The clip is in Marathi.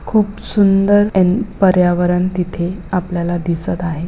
खुप सुंदर अ‍ॅन्ड पर्यावण तिथे आपल्याला दिसत आहे.